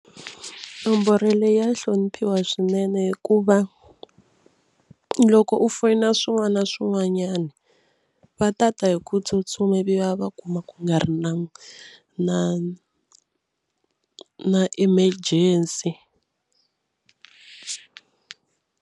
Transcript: Nomboro leyi ya hloniphiwa swinene hikuva loko u foyina swin'wana na swin'wanyana va ta ta hi ku tsutsuma ivi va kuma ku nga ri na na na emergency.